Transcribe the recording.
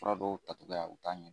Fura dɔw tacogoya u t'a